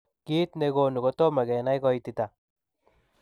Kiit negonuu kotomoo kenai koititaa.